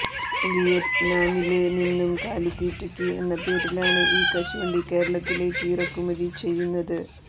വിയറ്റ്നാമില് നിന്നും കാലിത്തീറ്റയ്ക്ക് എന്ന പേരിലാണ് ഈ കശുവണ്ടി കേരളത്തിലേക്ക് ഇറക്കുമതി ചെയ്യുന്നത്